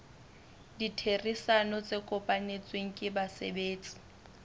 ditherisano tse kopanetsweng ke basebetsi